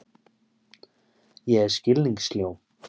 Ég er skilningssljó.